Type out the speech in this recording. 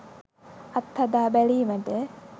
අත්හදා බැලීමට